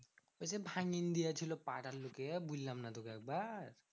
ওই যে ভাঙিন দিয়েছিলো পাড়ার লোকে। বললাম না তোকে একবার?